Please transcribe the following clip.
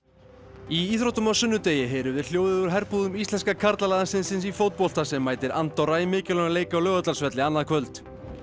í íþróttum á sunnudegi heyrum við hljóðið úr herbúðum íslenska karlalandsliðsins í fótbolta sem mætir Andorra í mikilvægum leik á Laugardalsvelli annað kvöld